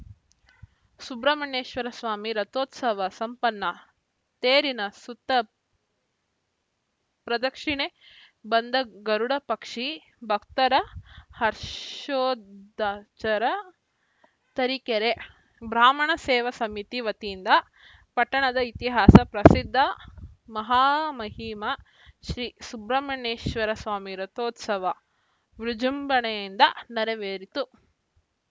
ಸುಬ್ರಹ್ಮಣ್ಯೇಶ್ವರ ಸ್ವಾಮಿ ರಥೋತ್ಸವ ಸಂಪನ್ನ ತೇರಿನ ಸುತ್ತ ಪ್ರದಕ್ಷಿಣೆ ಬಂದ ಗರುಡ ಪಕ್ಷಿ ಭಕ್ತರ ಹರ್ಷೋದ್ಚ್ ರ ತರೀಕೆರೆ ಬ್ರಾಹ್ಮಣ ಸೇವಾ ಸಮಿತಿ ವತಿಯಿಂದ ಪಟ್ಟಣದ ಇತಿಹಾಸ ಪ್ರಸಿದ್ಧ ಮಹಾಮಹಿಮ ಶ್ರಿ ಸುಬ್ರಹ್ಮಣ್ಯೇಶ್ವರ ಸ್ವಾಮಿ ರಥೋತ್ಸವ ವಿಜೃಂಭಣೆಯಿಂದ ನೆರವೇರಿತು